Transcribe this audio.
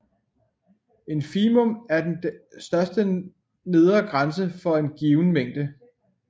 Infimum er den største nedre grænse for en given mængde